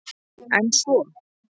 En svo?